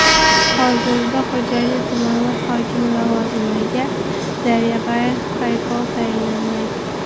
Hozirda Xo‘jayli tumani hokimi lavozimiga Daryabay Qaypov tayinlangan .